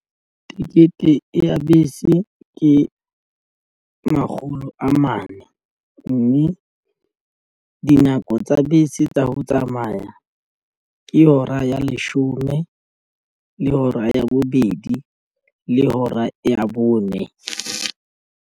Tikete ya bese ke makgolo a mane mme dinako tsa bese tsa ho tsamaya ke hora ya leshome le hora ya bobedi le hora ya bone.